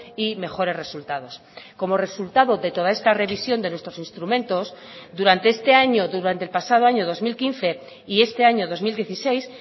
y mejores resultados como resultado de toda esta revisión de nuestros instrumentos durante este año durante el pasado año dos mil quince y este año dos mil dieciséis